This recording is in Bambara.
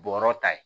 Bɔrɔ ta ye